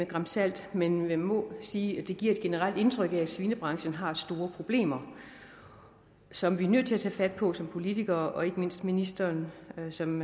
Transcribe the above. gran salt men man må sige at det giver et generelt indtryk af at svinebranchen har store problemer som vi er nødt til at tage fat på som politikere og ikke mindst ministeren som